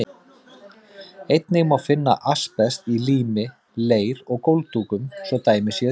Einnig má finna asbest í lími, leir og gólfdúkum, svo dæmi séu tekin.